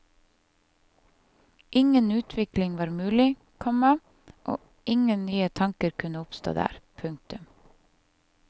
Ingen utvikling var mulig, komma og ingen nye tanker kunne oppstå der. punktum